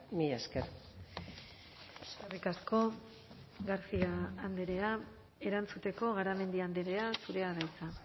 mila esker eskerrik asko garcia andrea erantzuteko garamendi andrea zurea da hitza